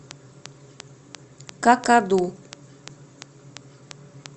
какаду